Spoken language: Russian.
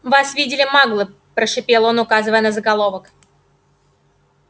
вас видели маглы прошипел он указывая на заголовок